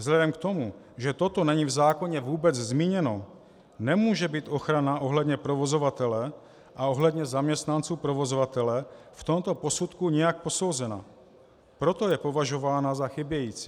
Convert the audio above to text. Vzhledem k tomu, že toto není v zákoně vůbec zmíněno, nemůže být ochrana ohledně provozovatele a ohledně zaměstnanců provozovatele v tomto posudku nijak posouzena, proto je považována za chybějící.